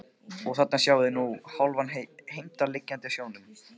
Og þarna sjáið þið nú sjálfan Heimdall liggjandi á sjónum.